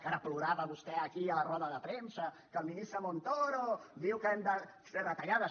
que ara plorava vostè aquí a la roda de premsa que el ministre montoro diu que hem de fer retallades